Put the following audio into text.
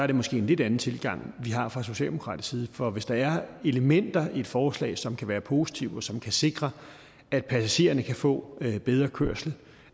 det måske en lidt anden tilgang vi har fra socialdemokratisk side for hvis der er elementer i et forslag som kan være positive og som kan sikre at passagererne kan få bedre kørsel